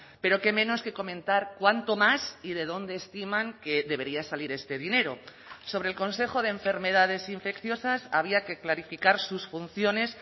pero qué menos que comentar cuánto más y de dónde estiman que debería salir este dinero sobre el consejo de enfermedades infecciosas había que clarificar sus funciones